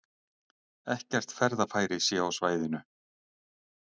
Ekkert ferðafæri sé á svæðinu